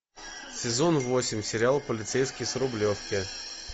сезон восемь сериал полицейский с рублевки